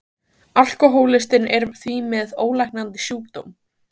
Alkohólistinn er því með ólæknandi sjúkdóm.